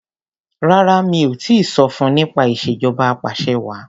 Rárá mi ò tíì sọ fun nípa ìṣèjọba apàṣẹwàá.